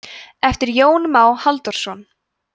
eftir jón má halldórsson